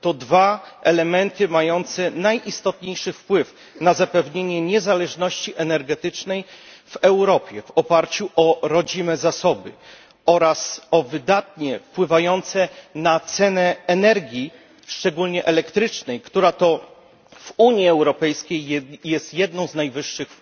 To dwa elementy mające najistotniejszy wpływ na zapewnienie niezależności energetycznej w Europie w oparciu o rodzime zasoby oraz wydatnie wpływające na cenę energii, szczególnie elektrycznej, która w Unii Europejskiej jest jedną z najwyższych